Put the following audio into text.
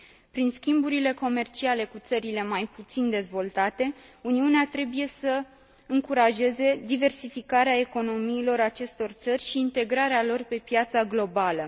Prin schimburile comerciale cu țările mai puțin dezvoltate, Uniunea trebuie să încurajeze diversificarea economiilor acestor țări și integrarea lor pe piața globală.